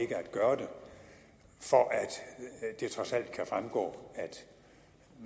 gøre det for at det trods alt kan fremgå